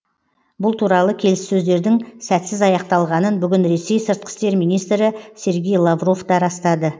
бұл туралы келіссөздердің сәтсіз аяқталғанын бүгін ресей сыртқы істер министрі сергей лавров та растады